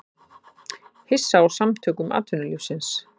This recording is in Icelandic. Hissa á Samtökum atvinnulífsins